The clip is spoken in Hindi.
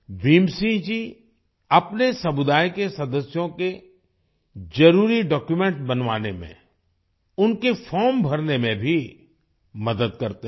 भीम सिंह जी अपने समुदाय के सदस्यों के जरूरी डॉक्यूमेंट्स बनवाने में उनके फॉर्म भरने में भी मदद करते हैं